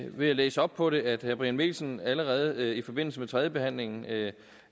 ved at læse op på det at herre brian mikkelsen allerede i forbindelse med tredjebehandlingen af